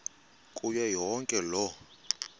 kuyo yonke loo